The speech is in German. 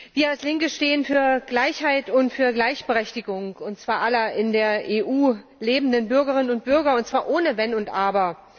Wir als Linke stehen für Gleichheit und Gleichberechtigung, und zwar aller in der EU lebenden Bürgerinnen und Bürger, und zwar ohne Wenn und Aber.